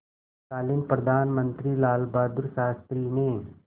तत्कालीन प्रधानमंत्री लालबहादुर शास्त्री ने